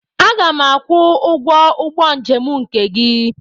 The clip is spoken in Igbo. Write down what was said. Aga m akwụ ụgwọ ụgbọ njem nke gị.